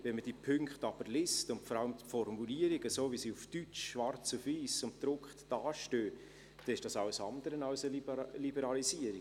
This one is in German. Wenn man die Punkte aber liest, und vor allem die Formulierung, wie sie auf Deutsch, schwarz auf weiss und gedruckt dasteht, dann ist das alles andere als eine Liberalisierung.